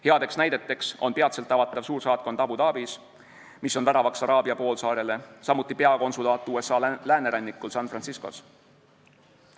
Head näited on peatselt avatav suursaatkond Abu Dhabis, mis on väravaks Araabia poolsaarele, samuti peakonsulaat USA läänerannikul San Franciscos.